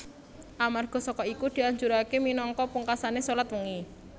Amarga saka iku dianjuraké minangka pungkasané shalat wengi